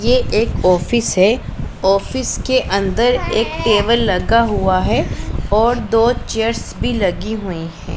ये एक ऑफिस है। ऑफिस के अंदर एक टेबल लगा हुआ है और दो चेयर्स भी लगी हुई है।